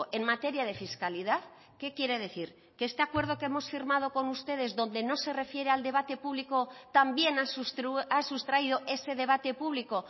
en materia de fiscalidad qué quiere decir que este acuerdo que hemos firmado con ustedes donde no se refiere al debate público también ha sustraído ese debate público